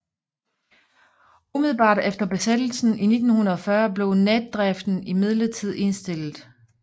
Umiddelbart efter besættelsen i 1940 blev natdriften imidlertid indstillet